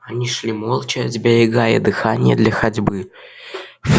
они шли молча сберегая дыхание для ходьбы